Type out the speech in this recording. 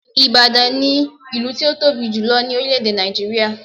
Ìbàdàn ni ìlú tí ó tóbi jùlo ní orílè èdè Nàìjíríà